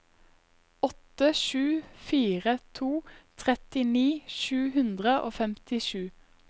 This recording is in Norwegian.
åtte sju fire to trettini sju hundre og femtisju